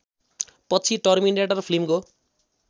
पछि टर्मिनेटर फिल्मको